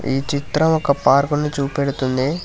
ఈ చిత్రం ఒక పార్కును చూపెడుతుంది.